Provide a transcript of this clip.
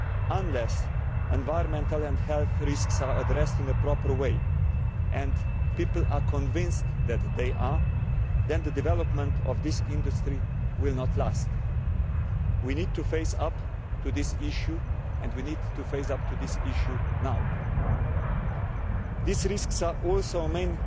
Unless environmental and health risks are addressed in a proper way, and people are convinced that they are, then the development of this industry will not last. We need to face up to this issue and we need to face up to this issue now. These risks are also the main